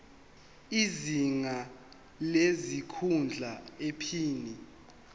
izinga lesikhundla iphini